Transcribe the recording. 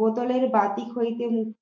বোতলের বাতিক হইতে মুক্তি